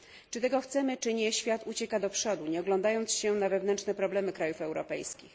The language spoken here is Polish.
Czy tego chcemy czy nie, świat ucieka do przodu, nie oglądając się na wewnętrzne problemy krajów europejskich.